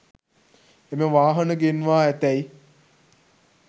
එම වාහන ගෙන්වා ඇතැයි